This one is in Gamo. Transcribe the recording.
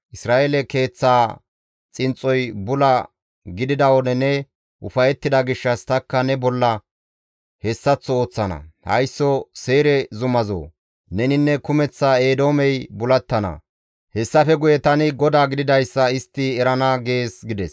Isra7eele keeththaa xinxxoy bula gidida wode ne ufayettida gishshas tanikka ne bolla hessaththo ooththana; haysso Seyre zumazoo! Neninne kumeththa Eedoomey bulattana; hessafe guye tani GODAA gididayssa istti erana› gees» gides.